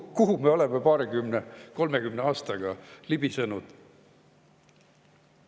Kuhu me oleme 20, 30 aastaga libisenud?